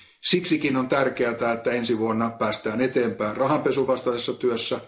Siksi on tärkeätä, että ensi vuonna päästään eteenpäin rahanpesun vastaisessa työssä.